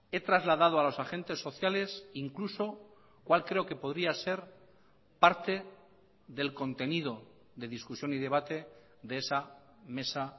he trasladado a los agentes sociales incluso cuál creo que podría ser parte del contenido de discusión y debate de esa mesa